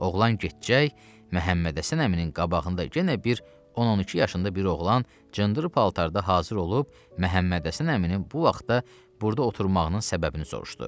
Oğlan getcək, Məhəmməd Həsən əminin qabağında yenə bir 10-12 yaşında bir oğlan cındır paltarda hazır olub Məhəmməd Həsən əminin bu vaxtda burda oturmağının səbəbini soruşdu.